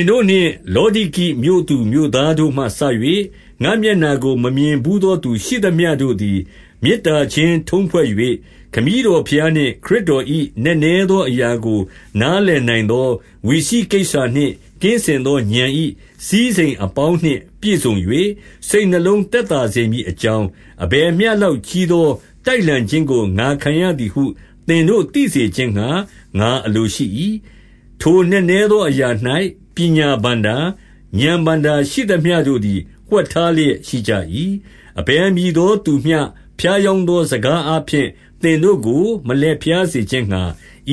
င်တို့နှင့် လောဒိကိမြို့သူမြို့သားတို့မှစ၍၊ ငါ့မျက်နှာကို မမြင်ဘူးသောသူ ရှိသမျှတို့သည်။ 2 မေတ္တာချင်းထုံးဖွဲ့၍၊ ခမည်းတော်ဘုရားနှင့် ခရစ်တော်၏ နက်နဲသောအရာကို နားလည်နိုင်သော ဝိစိကိစ္ဆာနှင့် ကင်းစင်သော ဥာဏ်၏စည်းစိမ်အပေါင်းနှင့် ပြည့်စုံ၍၊ စိတ်နှလုံးသက်သာစေမည်အကြောင်း အဘယ်မျှလောက်ကြီးသော တိုက်လှန်ခြင်းကို ငါခံရသည်ဟု သင်တို့သိစေခြင်းငှါ ငါအလိုရှိ၏။ 3 ထိုနက်နဲသောအရာ၌ ပညာဘဏ္ဍာ၊ ဥာဏ်ဘဏ္ဍာရှိသမျှတို့သည် ဝှက်ထားလျက်ရှိကြ၏။ 4 အဘယ်မည်သောသူမျှ ဖြားယောင်းသောစကားအားဖြင့် သင်တို့ကို မလှည့်ဖြားစေခြင်းငှါ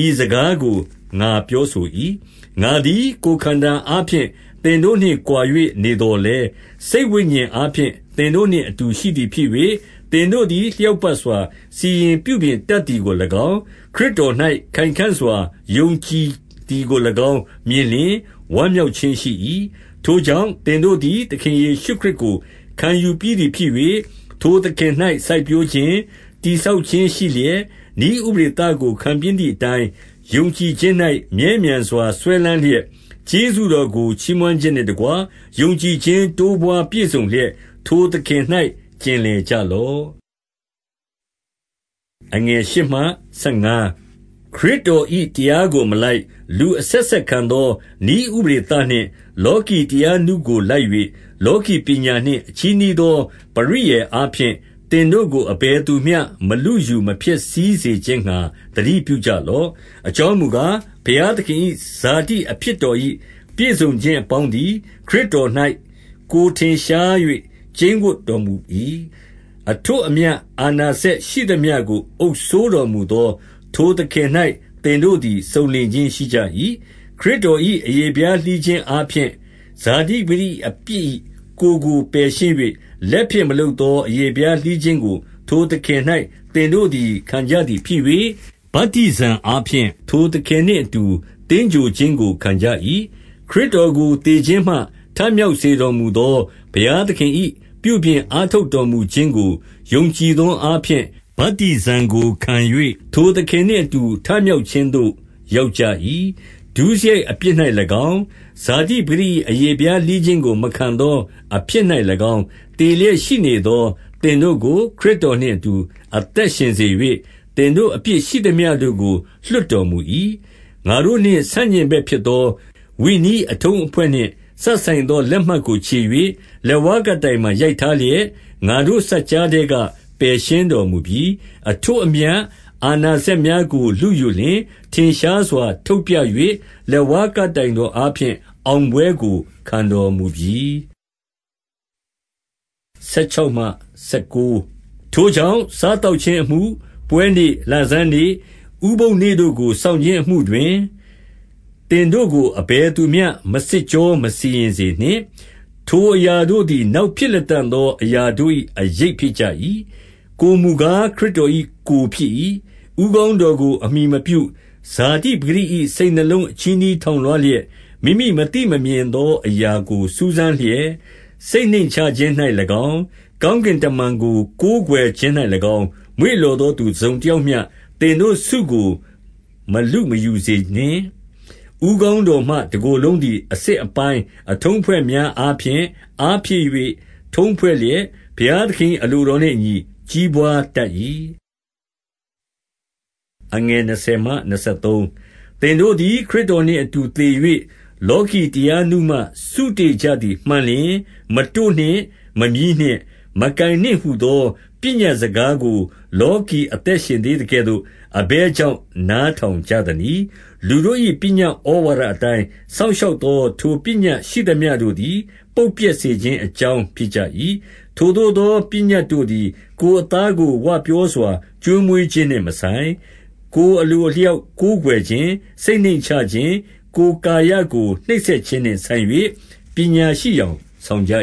၊ ဤ စကားကို ငါပြောဆို၏။ 5 ငါသည် ကိုယ်ခန္ဓာအားဖြင့် သင်တို့နှင့် ကွာ၍ နေသော်လည်း၊ စိတ်ဝိညာဉ်အားဖြင့် သင်တို့နှင့်အတူ ရှိသည်ဖြစ်၍၊ သင်တို့သည် လျောက်ပတ်စွာ စီရင်ပြုပြင်တတ်သည်ကို၎င်း၊ ခရစ်တော်၌ ခိုင်ခံ့စွာ ယုံကြည်သည် ကို၎င်း မြင်လျှင် ဝမ်းမြောက်ခြင်းရှိ၏။ 6 ထို့ကြောင့် သင်တို့သည် သခင်ယေရှုခရစ်ကို ခံယူပြီးသည်ဖြစ်၍၊ ထိုသခင်၌ စိုက်ပျိုးခြင်း၊ တည်ဆောက်ခြင်း ရှိလျက်၊ နည်းဥပဒေသကို ခံပြီးသည်အတိုင်း ယုံကြည်ခြင်း၌ မြဲမြံစွာစွဲလမ်းလျက်၊ 7 ကျေးဇူးတော်ကို ချီးမွမ်းခြင်းနှင့်တကွ ယုံကြည်ခြင်း တိုးပွါးပြည့်စုံလျက်၊ ထိုသခင်၌ ကျင်လည်ကြလော့။ 8 ခရစ်တော်၏တရားကို မလိုက်၊ လူအဆက်ဆက်ခံသော နည်းဥပဒေသနှင့် လောကီတရားနုကို လိုက်၍၊ လောကီပညာနှင့် အချည်းနှီးသောပရိယာယ်အားဖြင့် သင်တို့ကို အဘယ်သူမျှ မလုယူမဖျက်ဆီး စေခြင်းငှါ သတိပြုကြလော့။ 9 အကြောင်းမူကား၊ ဘုရားသခင်၏ ဇာတိအဖြစ်တော်၏ ပြည့်စုံခြင်းအပေါင်းသည် ခရစ်တော်၌ ကိုယ်ထင်ရှား၍ ကျိန်းဝပ်တော်မူ၏။ 10 အထွဋ်အမြတ် အာဏာစက်ရှိသမျှကို အုပ်စိုးတော်မူသော ထိုသခင်၌ သင်တို့သည် စုံလင်ခြင်းရှိကြ၏။ 11 ခရစ်တော်၏ အရေဖျားလှီးခြင်းအားဖြင့် ဇာတိ ပကတိအပြစ်၏ ကိုယ်ကိုပယ်ရှင်း၍၊ လက်ဖြင့်မလုပ် သော အရေဖျားလှီးခြင်းကို ထိုသခင်၌ သင်တို့သည် ခံကြသည်ဖြစ်၍၊ 12 ဗတ္တိဇံအားဖြင့် ထိုသခင်နှင့်အတူ သင်္ဂြိုဟ်ခြင်းကို ခံကြ၏။ ခရစ်တော်ကို သေခြင်းမှ ထမြောက်စေ တော်မူသော ဘုရားသခင်၏ ပြုပြင်အားထုတ်တော်မူခြင်းကို ယုံကြည်သောအားဖြင့်၊ ဗတ္တိဇံကိုခံ၍ ထိုသခင် နှင့်အတူ ထမြောက်ခြင်းသို့ ရောက်ကြ၏။ 13 ဒုစရိုက်အပြစ်၌၎င်း၊ ဇာတိပကတိ၏ အရေဖျားလှီးခြင်းကို မခံသောအဖြစ်၌၎င်း သေလျက်ရှိနေသော သင်တို့ကို ခရစ်တော်နှင့်အတူ အသက်ရှင်စေ၍၊ သင်တို့ အပြစ်ရှိသမျှတို့ကို လွှတ်တော်မူ၏။ 14 ငါတို့နှင့်ဆန့်ကျင်ဘက်ဖြစ်သော ဝိနည်းအထုံးအဖွဲ့နှင့် စပ်ဆိုင်သောလက်မှတ်ကို ချေ၍၊ လက်ဝါး ကပ်တိုင်မှာ ရိုက်ထားလျက်၊ ငါတို့စပ်ကြားထဲက ပယ်ရှင်းတော်မူပြီ။ 15 အထွဋ်အမြတ်၊ အာဏာစက်များကို လုယူလျှင်၊ ထင်ရှားစွာ ထုတ်ပြ၍လက်ဝါးကပ်တိုင်တော်အားဖြင့် အောင်ပွဲကို ခံတော်မူပြီ။ 16 ထိုကြောင့် စားသောက်ခြင်းအမှု၊ ပွဲနေ့၊ လဆန်းနေ့၊ ဥပုသ်နေ့တို့ကို စောင့်ခြင်းအမှုတွင် သင်တို့ကို အဘယ်သူမျှ မစစ်ကြောမစီရင်စေနှင့်။ 17 ထိုအရာတို့သည် နောက်ဖြစ်လတံ့သော အရာတို့၏ အရိပ်ဖြစ်ကြ၏။ ကိုယ်မူကား ခရစ်တော်၏ ကိုယ်ဖြစ်၏။ 18 ဦးခေါင်းတော်ကို အမှီမပြု၊ ဇာတိပကတိ၏ စိတ်နှလုံးအချည်းနှီးထောင်လွှားလျက်၊ မိမိမသိမမြင် သောအရာကို စူးစမ်းလျက်၊ စိတ်နှိမ့်ချခြင်း၌၎င်း၊ ကောင်းကင်တမန်ကို ကိုးကွယ်ခြင်း၌၎င်း မွေ့လျော် သောသူ တစုံတယောက်မျှ သင်တို့ဆုကို မလုမယူစေနှင့်။ 19 ဦးခေါင်းတော်မှ တကိုယ်လုံးသည် အဆစ်အပိုင်း အထုံးအဖွဲ့များအားဖြင့်၊ အားဖြည့်၍ ထုံးဖွဲ့လျက်၊ ဘုရားသခင်၏ အလိုတော်နှင့်အညီ ကြီးပွါးတတ်၏။ 20 သင်တို့သည် ခရစ်တော်နှင့် အတူသေ၍၊ လောကီတရားနုမှ စုတေ့ကြသည်မှန်လျှင်၊ 21 မတို့နှင့်၊ မမြည်းနှင့်၊ မကိုင်နှင့်ဟူသော ပညတ်စကားကို လောကီအသက်ရှင်သေးသကဲ့သို့၊ အဘယ် ကြောင့် နားထောင်ကြသနည်း။ 22 လူတို့၏ ပညတ်ဩဝါဒအတိုင်း စောင့်ရှောက်သော ထိုပညတ်ရှိသမျှတို့သည် ပုပ်ပျက်စေခြင်း အကြောင်းဖြစ်ကြ၏။ 23 ထိုသို့သော ပညတ်တို့သည် ကိုယ်အသားကို ဝပြောစွာ ကျွေးမွေးခြင်းနှင့်မဆိုင်၊ ကိုယ်အလိုအလျောက် ကိုးကွယ်ခြင်း၊ စိတ်နှိမ့်ချခြင်း၊ ကိုယ်ကာယကို နှိပ်စက်ခြင်းနှင့်ဆိုင်၍၊ ပညာရှိယောင်ဆောင်ကြ